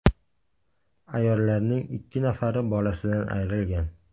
Ayollarning ikki nafari bolasidan ayrilgan.